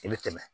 I bɛ tɛmɛ